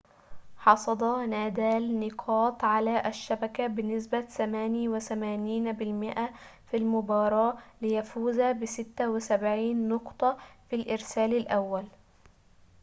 حصد نادال نقاط على الشبكة بنسبة 88% في المباراة ليفوز ب76 نقطة في الإرسال الأول